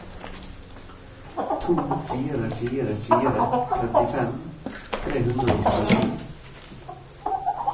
to fire fire fire trettifem tre hundre og åttisju